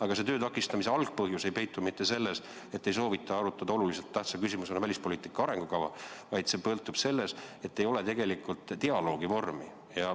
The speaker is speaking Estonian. Aga töö takistamise algpõhjus ei peitu mitte selles, et ei soovita arutada oluliselt tähtsa küsimusena välispoliitika arengukava, vaid see peitub selles, et ei ole dialoogi vormi.